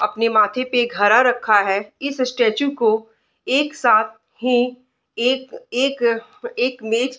अपना माथे पर घड़ा रखा है | इस स्टेचू को एक साथ ही एक एक एक मेज --